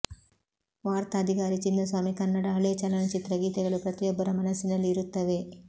ವಾರ್ತಾಧಿಕಾರಿ ಚಿನ್ನಸ್ವಾಮಿ ಕನ್ನಡ ಹಳೇ ಚಲನಚಿತ್ರ ಗೀತೆಗಳು ಪತ್ರಿಯೊಬ್ಬರ ಮನಸ್ಸಿನಲ್ಲಿ ಇರುತ್ತವೆ